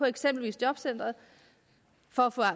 eksempelvis jobcenteret for